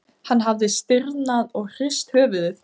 Hann hafði stirðnað og hrist höfuðið.